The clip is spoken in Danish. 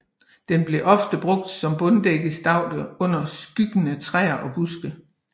Den bliver ofte brugt som bunddækkende staude under skyggende træer og buske